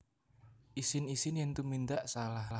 Isin Isin yen tumindak salah